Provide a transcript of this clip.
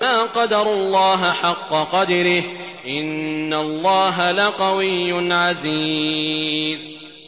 مَا قَدَرُوا اللَّهَ حَقَّ قَدْرِهِ ۗ إِنَّ اللَّهَ لَقَوِيٌّ عَزِيزٌ